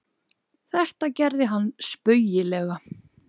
Þetta gerði hann spaugilegan.